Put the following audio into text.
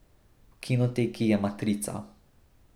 V kinoteki je Matrica.